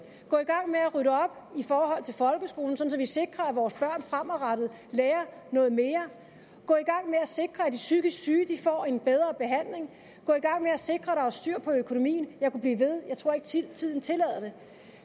gå i gang med at rydde op i forhold til folkeskolen så vi sikrer at vores børn fremadrettet lærer noget mere gå i gang med at sikre at de psykisk syge får en bedre behandling og gå i gang med at sikre at der er styr på økonomien jeg kunne blive ved jeg tror ikke tiden tiden tillader det